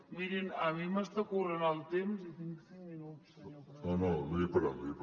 mirin a mi m’està corrent el temps i tinc cinc minuts senyor president